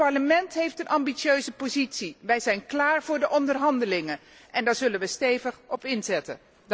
Het Parlement heeft een ambitieuze positie. Wij zijn klaar voor de onderhandelingen, en daar zullen we stevig op inzetten.